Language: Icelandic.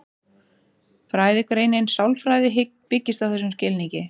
Fræðigreinin sálfræði byggist á þessum skilningi.